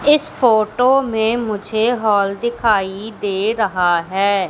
इस फोटो में मुझे हॉल दिखाई दे रहा है।